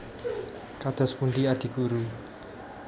Kados pundi Adi Guru